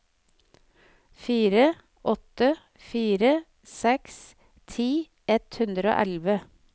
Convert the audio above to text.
fire åtte fire seks ti ett hundre og elleve